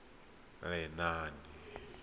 lenaane